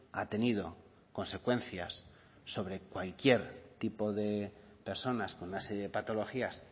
ha tenido consecuencias sobre cualquier tipo de personas con una serie de patologías